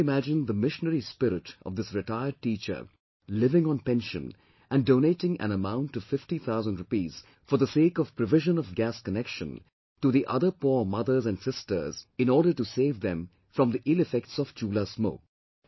You may well imagine the missionary spirit of this retired teacher living on pension and donating an amount of fifty thousand rupees for the sake of provision of gas connection to the other poor mothers and sisters, in order to save them from the ill effects of Chulha smoke